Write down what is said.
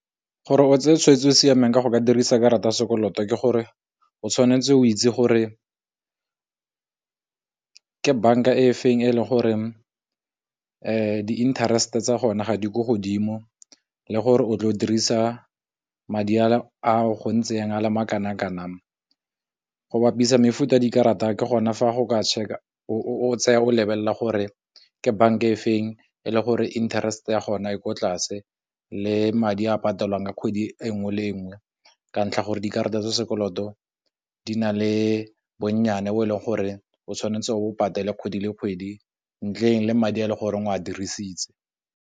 Gore o tseye tshweetso o siameng ka go dirisa karata ya sekoloto ke gore o tshwanetse o itse gore ke banka-e feng e leng gore di interest tsa gone ga di ko godimo, le gore o tlo dirisa ka madi a o a le makanang kanang. Go bapisa mefuta ya dikarata ke gone lebelela gore ke bank-a e feng e le gore interest ya gona e ko tlase, le madi a patelang ka kgwedi e nngwe le nngwe ka ntlha gore dikarata tsa sekoloto di na le bonnyane bo e leng gore o tshwanetse o patale kgwedi le kgwedi ntleng le madi a le gore o a dirisitse.